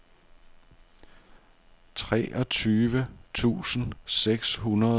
treogtyve tusind seks hundrede og enogfirs